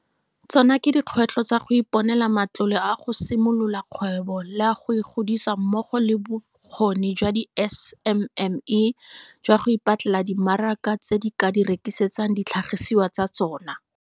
Tsona ke dikgwetlho tsa go iponela matlole a go simolola kgwebo le a go e godisa mmogo le bokgoni jwa di-SMME jwa go ipatlela dimaraka tse di ka di rekisetsang ditlhagisiwa tsa tsona.